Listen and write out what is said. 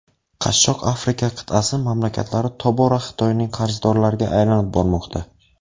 Qashshoq Afrika qit’asi mamlakatlari tobora Xitoyning qarzdorlariga aylanib bormoqda.